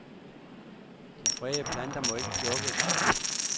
De fredede planter må ikke plukkes.